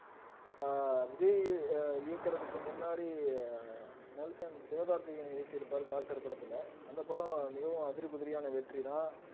அஹ் விஜய் ஆஹ் இயக்குறதுக்கு முன்னாடி நெல்சன் சிவகார்த்திகேயனை இயக்கியிருப்பாரு டாக்டர் படத்துல அந்த படம் மிகவும் அதிரி புதிரியான வெற்றிதான்